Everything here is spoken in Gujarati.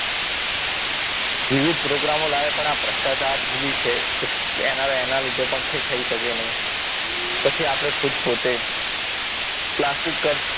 વિવિધ program ઓ લાવ્યા પણ આ ભ્રષ્ટાચાર ધીમી છે એના લીધે લીધે પણ થઈ શકે નહીં પછી આપણે ખુદ પોતે પ્લાસ્ટિક કચ